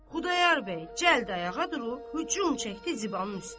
Xudayar bəy cəld ayağa durub hücum çəkdi Zibanın üstə.